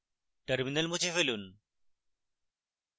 terminal মুছে ফেলুন